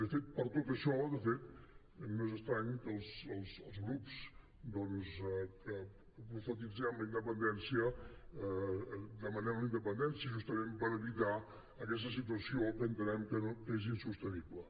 de fet per tot això no és estrany que els grups que profetitzem la independència demanem la independència justament per evitar aquesta situació que entenem que és insostenible